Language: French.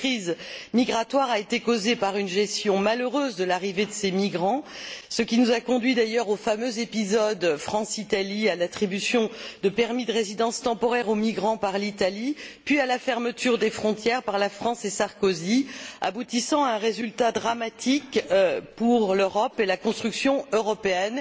Cette crise migratoire a été causée par une gestion malheureuse de l'arrivée de ces migrants, ce qui nous a conduits d'ailleurs au fameux épisode France Italie, à l'attribution de permis de résidence temporaires aux migrants par l'Italie, puis à la fermeture des frontières par la France et par M. Sarkozy, aboutissant à un résultat dramatique pour l'Europe et la construction européenne,